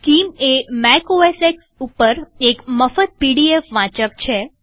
scheme એ Mac O S X ઉપર એક મફત પીડીએફ રીડર છે